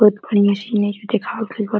बहुत बढ़िया सीन एइजा देखावल गइल बा --